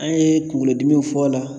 An ye kunkolo dimiw fɔ a la.